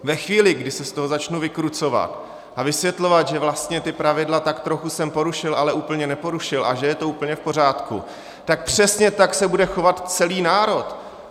Ve chvíli, kdy se z toho začnu vykrucovat a vysvětlovat, že vlastně ta pravidla tak trochu jsem porušil, ale úplně neporušil a že je to úplně v pořádku, tak přesně tak se bude chovat celý národ.